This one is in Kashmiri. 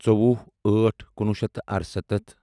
ژوٚوُہ ٲٹھ کُنوُہ شیٚتھ تہٕ ارسَتتھ